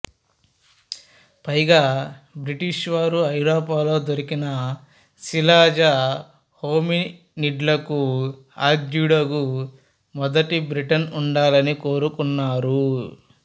పైగా బ్రిటిషు వారు ఐరోపాలో దొరికిన శిలాజ హోమినిడ్లకు ఆద్యుడుగా మొదటి బ్రిటన్ ఉండాలని కోరుకున్నారు